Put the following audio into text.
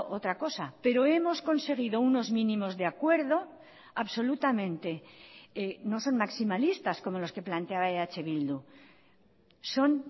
otra cosa pero hemos conseguido unos mínimos de acuerdo absolutamente no son maximalistas como los que planteaba eh bildu son